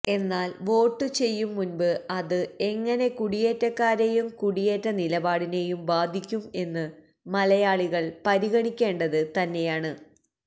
എന്നാല് വോട്ടു ചെയ്യും മുന്പ് അത് എങ്ങനെ കുടിയേറ്റക്കാരെയും കുടിയേറ്റ നിലപാടിനെയും ബാധിക്കും എന്നു മലയാളികള് പരിഗണിക്കേണ്ടത് തന്നെയാണ്